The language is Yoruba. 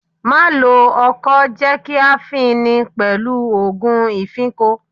Má lo ọkọ́, jẹ́ kí a fin ni pẹ̀lú òògun ìfínko!